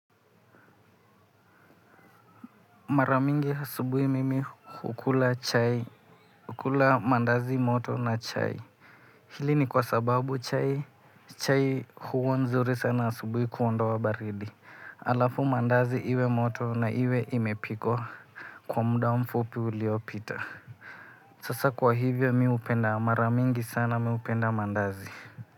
Mara mingi asubuhi mimi hukula mandazi moto na chai. Hili ni kwa sababu chai huwa nzuri sana asubuhi kuondoa wa baridi. Alafu mandazi iwe moto na iwe imepikwa kwa muda mfupi uliopita. Sasa kwa hivyo mi hupenda, mara mingi sana mi upenda mandazi.